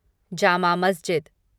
जमा मस्जिद